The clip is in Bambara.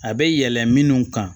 A bɛ yɛlɛ minnu kan